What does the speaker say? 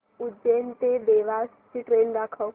उज्जैन ते देवास ची ट्रेन दाखव